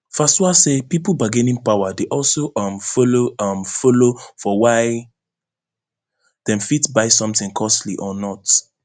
fasua say pipo bargaining power dey also um follow um follow for why dem fit buy sometin costly or not